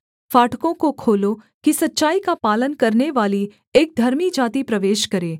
फाटकों को खोलो कि सच्चाई का पालन करनेवाली एक धर्मी जाति प्रवेश करे